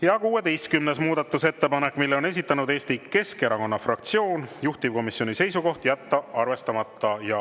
Ja 16. muudatusettepanek, mille on esitanud Eesti Keskerakonna fraktsioon, juhtivkomisjoni seisukoht: jätta arvestamata.